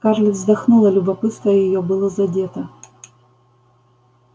скарлетт вздохнула любопытство её было задето